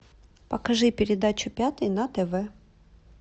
покажи передачу пятый на тв